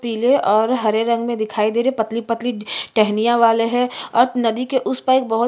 पिले और हरे रंग में दिखाई दे रहै है पतली पतली टहनिया वाले है और नदी के उस पर बहोत--